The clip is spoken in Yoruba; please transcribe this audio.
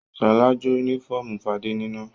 Ṣọlá jó únífọ́ọ́mù Fadé níná.